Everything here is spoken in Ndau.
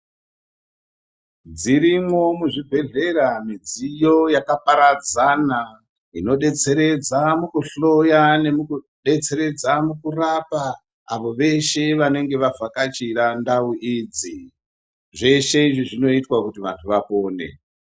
Dzirimwo muzvibhehlera midziyo yakaparadzana inodetseredza mukuhloya nemukudetseredza mukurapa avo veshe vanenge vavhakachira ndau idzi zveshe izvi zvinoitwa kuti vantu vapone.